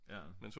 Ja